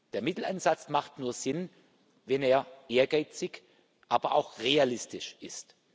Der Mittelansatz macht nur Sinn, wenn er ehrgeizig, aber auch realistisch ist.